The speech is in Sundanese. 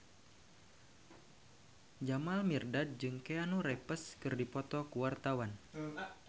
Jamal Mirdad jeung Keanu Reeves keur dipoto ku wartawan